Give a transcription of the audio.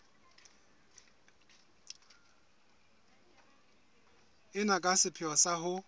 ena ka sepheo sa ho